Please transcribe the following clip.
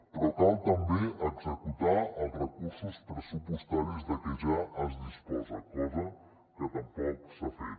però cal també executar els recursos pressupostaris de què ja es disposa cosa que tampoc s’ha fet